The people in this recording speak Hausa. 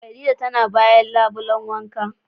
Khadijah tana bayan labulen wanka.